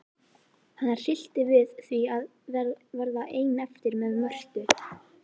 Hana hryllti við því að verða ein eftir með Mörtu.